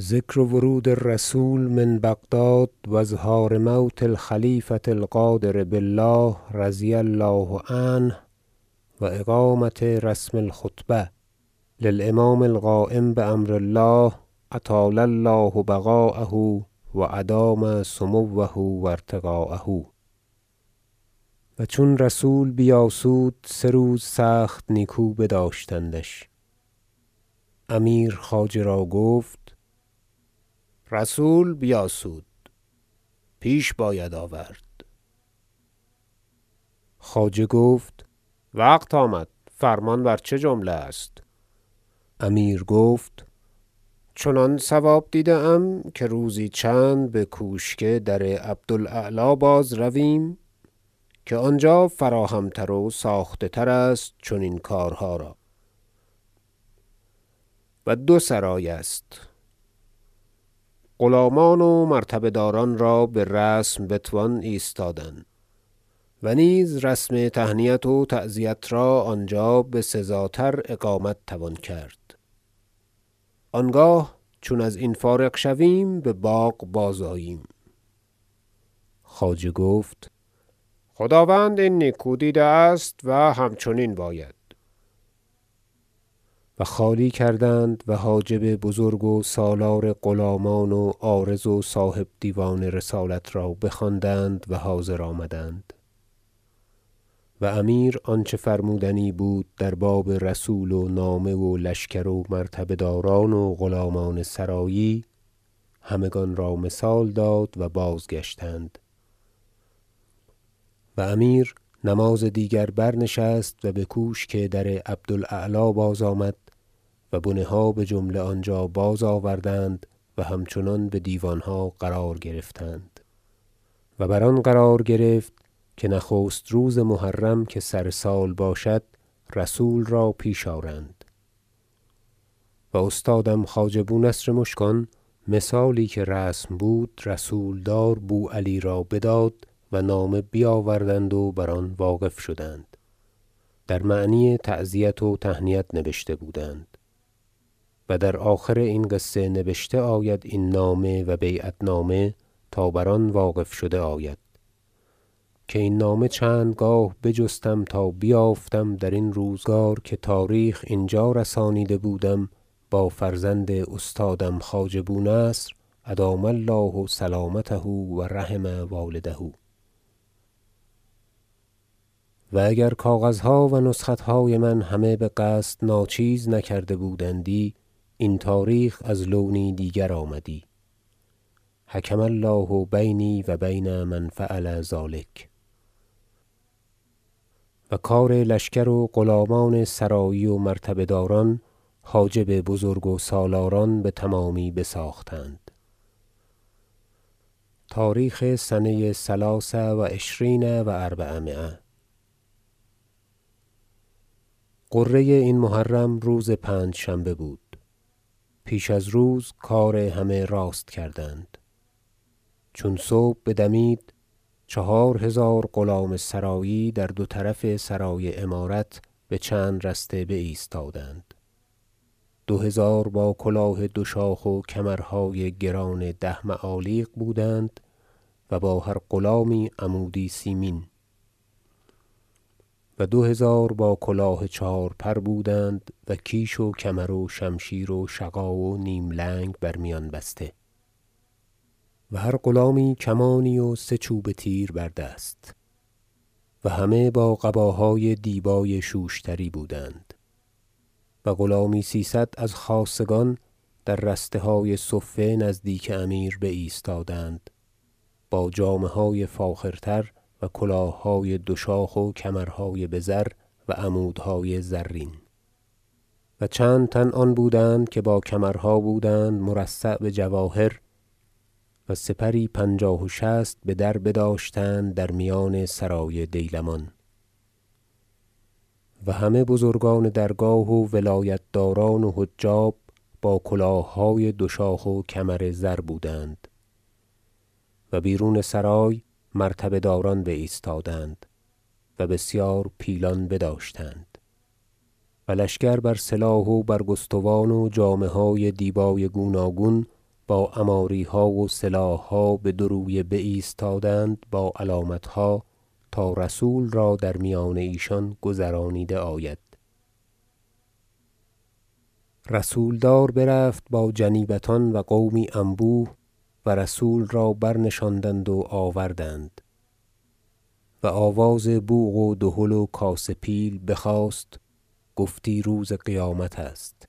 ذکر ورود الرسول من بغداد و اظهار موت الخلیفة القادر بالله رضی الله عنه و اقامة رسم الخطبة للامام القایم بامر الله أطال الله بقاءه و ادام سموه و ارتقاءه و چون رسول بیاسود- سه روز سخت نیکو بداشتندش- امیر خواجه را گفت رسول بیاسود پیش باید آورد خواجه گفت وقت آمد فرمان بر چه جمله است امیر گفت چنان صواب دیده ام که روزی چند بکوشک در عبد الاعلی باز رویم که آنجا فراهم تر و ساخته تر است چنین کارها را و دو سرای است غلامان و مرتبه داران را برسم بتوان ایستادن و نیز رسم تهنیت و تعزیت را آنجا بسزاتر اقامت توان کرد آنگاه چون از این فارغ شویم بباغ باز آییم خواجه گفت خداوند این نیکو دیده است و همچنین باید و خالی کردند و حاجب بزرگ و سالار غلامان و عارض و صاحب دیوان رسالت را بخواندند و حاضر آمدند و امیر آنچه فرمودنی بود در باب رسول و نامه و لشکر و مرتبه داران و غلامان سرایی همگان را مثال داد و بازگشتند و امیر نماز دیگر برنشست و بکوشک در عبد الاعلی بازآمد و بنه ها بجمله آنجا بازآوردند و همچنان بدیوانها قرار گرفتند و بر آن قرار گرفت که نخست روز محرم که سر سال باشد رسول را پیش آرند و استادم خواجه بونصر مشکان مثالی که رسم بود رسولدار بوعلی را بداد و نامه بیاوردند و بر آن واقف شدند در معنی تعزیت و تهنیت نوشته بودند و در آخر این قصه نبشته آید این نامه و بیعت نامه تا بر آن واقف شده آید که این نامه چند گاه بجستم تا بیافتم درین روزگار که تاریخ اینجا رسانیده بودم با فرزند استادم خواجه بونصر ادام الله سلامته و رحم والده و اگر کاغذها و نسختهای من همه بقصد ناچیز نکرده بودندی این تاریخ از لونی دیگر آمدی حکم الله بینی و بین من فعل ذلک و کار لشکر و غلامان سرایی و مرتبه داران حاجب بزرگ و سالاران بتمامی بساختند تاریخ سنه ثلاث و عشرین و اربعمایه غره این محرم روز پنجشنبه بود پیش از روز کار همه راست کردند چون صبح بدمید چهار هزار غلام سرایی در دو طرف سرای امارت بچند رسته بایستادند دو هزار با کلاه دو شاخ و کمرهای گران ده معالیق بودند و با هر غلامی عمودی سیمین و دو هزار با کلاه چهارپر بودند و کیش و کمر و شمشیر و شغا و نیم لنگ بر میان بسته و هر غلامی کمانی و سه چوبه تیر بر دست و همگان با قباهای دیبای شوشتری بودند و غلامی سیصد از خاصگان در رستهای صفه نزدیک امیر بایستادند با جامه های فاخرتر و کلاههای دو شاخ و کمرهای بزر و عمودهای زرین و چند تن آن بودند که با کمرها بودند مرصع بجواهر و سپری پنجاه و شصت بدر بداشتند در میان سرای دیلمان و همه بزرگان درگاه و ولایت داران و حجاب با کلاههای دو شاخ و کمر زر بودند و بیرون سرای مرتبه داران بایستادند و بسیار پیلان بداشتند و لشکر بر سلاح و برگستوان و جامه های دیبای گوناگون با عماریها و سلاحها بدو رویه بایستادند با علامتها تا رسول را در میان ایشان گذرانیده آید رسولدار برفت با جنیبتان و قومی انبوه و رسول را برنشاندند و آوردند و آواز بوق و دهل و کاسه پیل بخاست گفتی روز قیامت است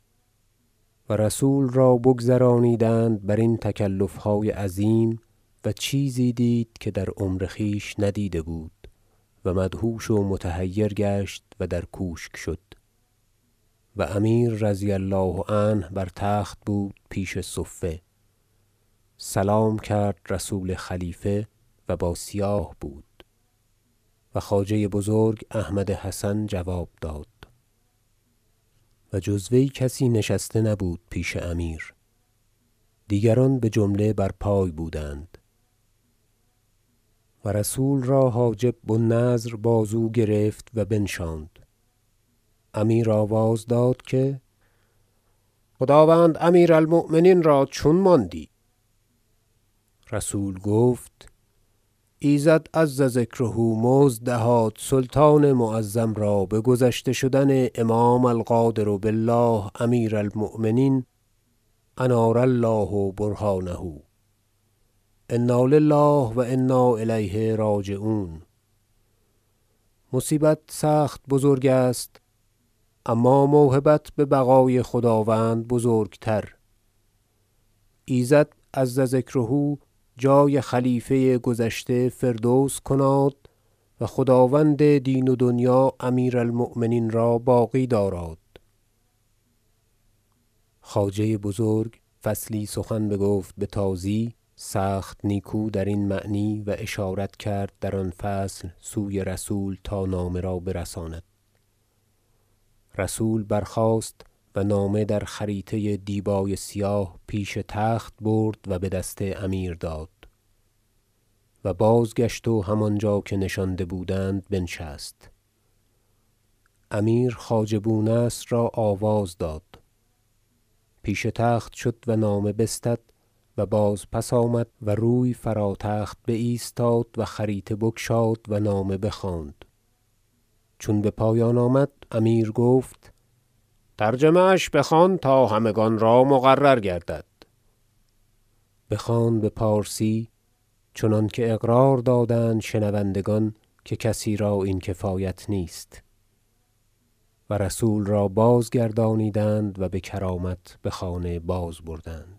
و رسول را بگذرانیدند برین تکلفهای عظیم و چیزی دید که در عمر خویش ندیده بود و مدهوش و متحیر گشت و در کوشک شد و امیر رضی الله عنه بر تخت بود پیش صفه سلام کرد رسول خلیفه و با سیاه بود و خواجه بزرگ احمد حسن جواب داد و جز وی کسی نشسته نبود پیش امیر دیگران بجمله بر پای بودند و رسول را حاجب بو النضر بازو گرفت و بنشاند امیر آواز داد که خداوند امیر المؤمنین را چون ماندی رسول گفت ایزد عز ذکره مزد دهاد سلطان معظم را بگذشته شدن امام القادر بالله امیر المؤمنین انار الله برهانه انا لله و انا الیه راجعون مصیبت سخت بزرگ است اما موهبت ببقای خداوند بزرگ تر ایزد عز ذکره جای خلیفه گذشته فردوس کناد و خداوند دین و دنیا امیر المؤمنین را باقی داراد خواجه بزرگ فصلی سخن بگفت بتازی سخت نیکو درین معنی و اشارت کرد در آن فصل سوی رسول تا نامه را برساند رسول برخاست و نامه در خریطه دیبای سیاه پیش تخت برد و بدست امیر داد و بازگشت و همانجا که نشانده بودند بنشست امیر خواجه بونصر را آواز داد پیش تخت شد و نامه بستد و باز پس آمد و روی فرا تخت بایستاد و خریطه بگشاد و نامه بخواند چون بپایان آمد امیر گفت ترجمه اش بخوان تا همگان را مقرر گردد بخواند بپارسی چنانکه اقرار دادند شنوندگان که کسی را این کفایت نیست و رسول را بازگردانیدند و بکرامت بخانه بازبردند